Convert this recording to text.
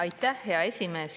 Aitäh, hea esimees!